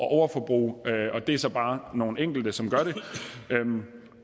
at overforbruge det er så bare nogle enkelte som gør det